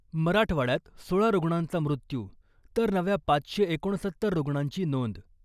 मराठवाड्यात सोळा रुग्णांचा मृत्यू , तर नव्या पाचशे एकोणसत्तर रुग्णांची नोंद .